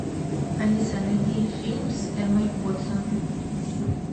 алиса найди фильм с эммой уотсон